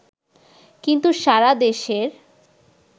কিন্তু সারা দেশের